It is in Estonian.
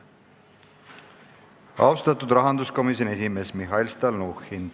Austatud rahanduskomisjoni esimees Mihhail Stalnuhhin!